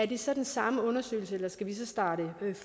det så den samme undersøgelse eller skal vi så starte